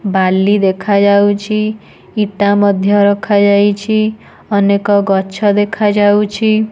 ବାଲି ଦେଖାଯାଉଛି। ଇଟା ମଧ୍ୟ ରଖାଯାଇଛି। ଅନେକ ଗଛ ଦେଖାଯାଉଛି।